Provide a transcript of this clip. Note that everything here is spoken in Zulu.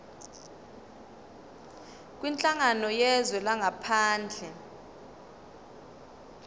kwinhlangano yezwe langaphandle